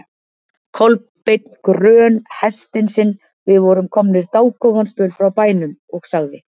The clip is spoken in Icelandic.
Kolbeinn grön hestinn sinn, við vorum komnir dágóðan spöl frá bænum, og sagði